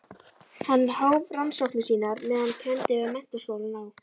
Hann hóf rannsóknir sínar meðan hann kenndi við Menntaskólann á